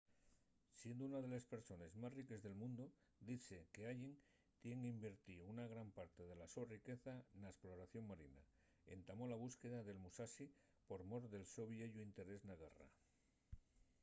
siendo una de les persones más riques del mundu dizse qu’allen tien invertío una gran parte de la so riqueza na esploración marina. entamó la búsqueda del musashi por mor del so vieyu interés na guerra